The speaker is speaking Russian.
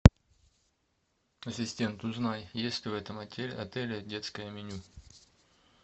ассистент узнай есть ли в этом отеле детское меню